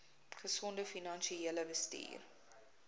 gesonde finansiële bestuur